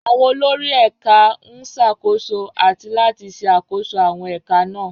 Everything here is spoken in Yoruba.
Àwọn olórí Ẹ̀ka ń ṣàkóso àti láti ṣe àkóso àwọn ẹ̀ka náà.